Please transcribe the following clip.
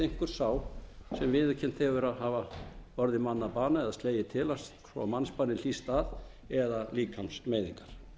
einhver sá sem viðurkennt hefur að hafa orðið manni að bana eða slegið til hans svo að mannsbani hlýst af eða líkamsmeiðingar